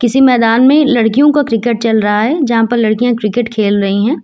किसी मैदान में लड़कियों का क्रिकेट चल रहा है यहां पर लड़कियां क्रिकेट खेल रही हैं।